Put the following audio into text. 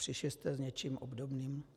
Přišli jste s něčím obdobným?